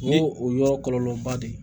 O ye o yɔrɔ kɔlɔlɔba de ye